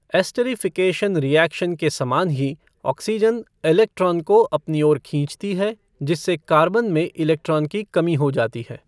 Esterification reaction के समान ही ऑक्सीजन इलेक्ट्रान को अपनी ओर खींचती है जिससे कार्बन में इलेक्ट्रोन की कमी हो जाती है।